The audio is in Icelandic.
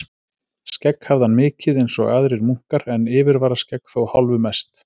Skegg hafði hann mikið einsog aðrir munkar, en yfirvararskegg þó hálfu mest.